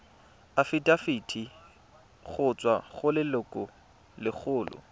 afitafiti go tswa go lelokolegolo